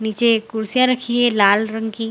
नीचे एक कुर्सियाँ रखी है लाल रंग की।